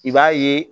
I b'a ye